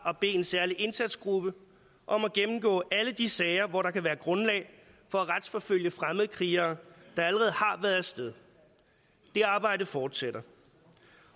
at bede en særlig indsatsgruppe om at gennemgå alle de sager hvor der kan være grundlag for at retsforfølge fremmedkrigere der allerede har været af sted det arbejde fortsætter